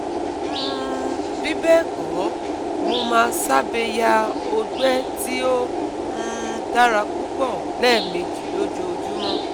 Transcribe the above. um Bibẹẹkọ mo ma sabe ya ogbe ti o um dara pupọ lẹmeji lojoojumọ